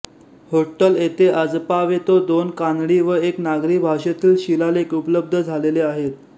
होट्टल येथे आजपावेतो दोन कानडी व एक नागरी भाषेतील शिलालेख उपलब्ध झालेले आहेत